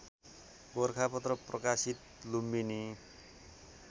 गोरखापत्र प्रकाशित लुम्बिनी